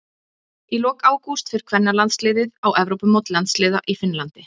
Í lok ágúst fer kvennalandsliðið á Evrópumót landsliða í Finnlandi.